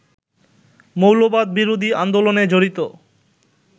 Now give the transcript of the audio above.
মৌলবাদ বিরোধী আন্দোলনে জড়িত